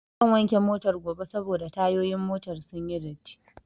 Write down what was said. Zan wanke Motar gobe saboda tayoyin motar sunyi datti